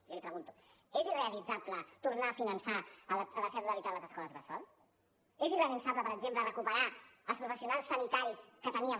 jo li pregunto és irrealitzable tornar a finançar en la seva totalitat les escoles bressol és irrealitzable per exemple recuperar els professionals sanitaris que teníem